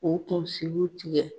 K'o kunsigiw tigɛ